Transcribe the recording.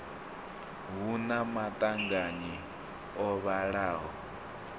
hu na maṱanganyi o vhalaho